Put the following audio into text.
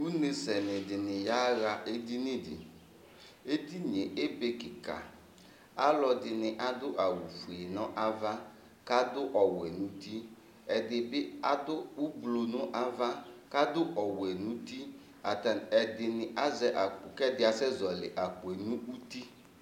Ʋnesɛni dìní yaha edini di Edini ye ebe kìka Alʋɛdìní adu awu fʋe nʋ ava kʋ adu ɔwɛ nʋ ʋti Ɛdi bi adu ʋblu nʋ ava kʋ adu ɔwɛ nʋ ʋti kʋ ɛdí asɛ zɔli akpo nʋ ʋti